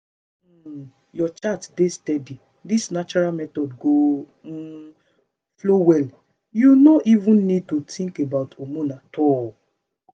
once um your chart dey steady this natural method go um flow well—you no even need to think about hormone at all.